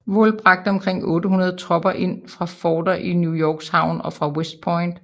Wool bragte omkring 800 tropper ind fra forter i New Yorks havn og fra West Point